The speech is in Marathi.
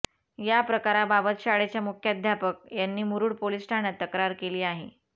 या प्रकाराबाबत शाळेच्या मुख्याध्यापक यांनी मुरुड पोलीस ठाण्यात तक्रार केली आहे